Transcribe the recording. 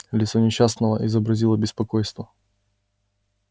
лицо несчастного изобразило беспокойство